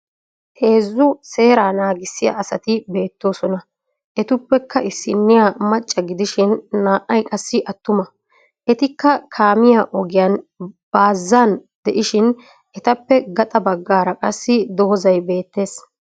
Heezzu seeraa naagissiya asati beettoosona. Etuppekka issinniya macca gidishin naa"ayi qassi attuma. Etikka kaamiya ogiyan baazzan de'ishin etappe gaxa baggaara qassi dozzay beettes.